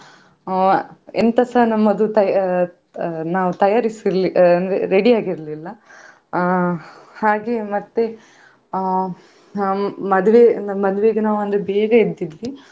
ಅಹ್ ಎಂತ ಸ ನಮ್ಮದು ತಯಾರಿ ಅಹ್ ನಾವ್ ತಯಾರಿಸಿ ಇರ್ಲಿಲ್ಲ ಅಂದ್ರೆ ready ಆಗಿರ್ಲಿಲ್ಲ ಅಹ್ ಹಾಗೆ ಮತ್ತೆ ಅಹ್ ಅಹ್ ಮದುವೆಗೆ ನಾವು ಬೇಗ ಎದ್ದಿದ್ವಿ.